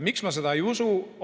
Miks ma seda ei usu?